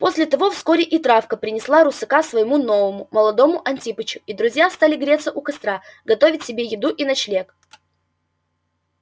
после того вскоре и травка принесла русака своему новому молодому антипычу и друзья стали греться у костра готовить себе еду и ночлег